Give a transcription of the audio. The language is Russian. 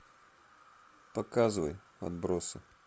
показывай отбросы